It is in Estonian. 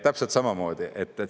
Täpselt samamoodi.